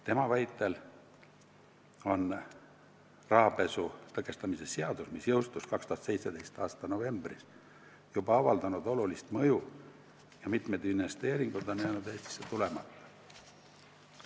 Tema väitel on rahapesu tõkestamise seadus, mis jõustus 2017. aasta novembris, juba avaldanud olulist mõju ja mitmed investeeringud on jäänud Eestisse tulemata.